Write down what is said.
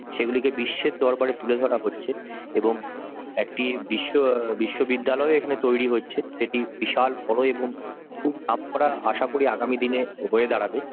সেগুলিকে বিশ্বের দরবারে তুলে ধরা হচ্ছে। এবং একটি বিশ্ব অ্যাঁ বিশ্ববিদ্যালয় ও এখানে তৈরি হচ্ছে সেটি বিশাল বড় এবং খুব নামকরা আশা করি আগামী দিনে হয়ে দাঁড়াবে।